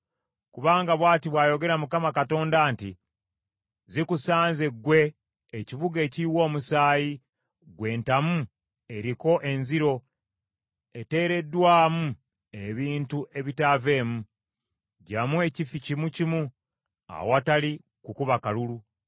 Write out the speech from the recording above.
“ ‘Kubanga bw’ati bw’ayogera Mukama Katonda nti, “ ‘Zikusanze ggwe ekibuga ekiyiwa omusaayi, ggwe entamu eriko enziro, eteereddwamu ebintu ebitaaveemu. Gyamu ekifi kimu kimu awatali kukuba kalulu.